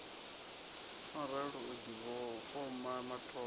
no ralo u difhoma matope